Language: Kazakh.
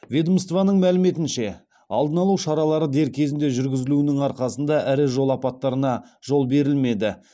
ведомствоның мәліметінше алдын алу шаралары дер кезінде жүргізілуінің арқасында ірі жол апаттарына жол берілмеді